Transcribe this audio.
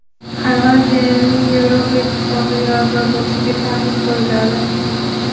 Xorvatiyaning Yevropa Ittifoqiga a’zo bo‘lishiga taqiq qo‘yiladi.